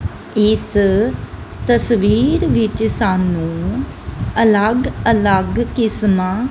ਇਸ ਤਸਵੀਰ ਵਿੱਚ ਸਾਨੂੰ ਅਲੱਗ ਅਲੱਗ ਕਿਸਮਾਂ--